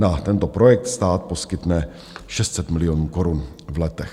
Na tento projekt stát poskytne 600 milionů korun v letech.